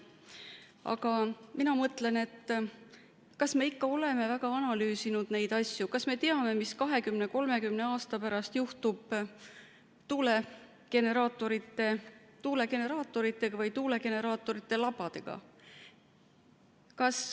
Aga mina mõtlen, kas me ikka oleme väga analüüsinud neid asju, kas me teame, mis 20–30 aasta pärast juhtub tuulegeneraatoritega või tuulegeneraatorite labadega.